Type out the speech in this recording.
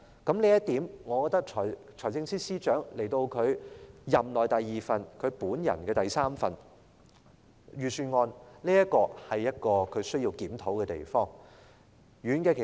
這已是財政司司長在本屆政府任內的第二份預算案，亦是他本人的第三份預算案，我認為他需要就這一點作出檢討。